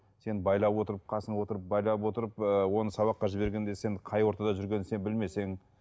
сен байлап отырып қасыңда отырып байлап отырып ыыы оны сабаққа жібергенде сен қай ортада жүргенін сен білмесең